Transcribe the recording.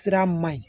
Sira man ɲi